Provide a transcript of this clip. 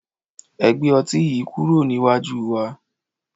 Ẹ gbe ọti yii kuro niwaju wa